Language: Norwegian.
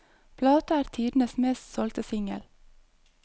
Plata er tidenes mest solgte singel.